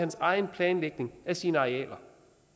egen planlægning af sine arealer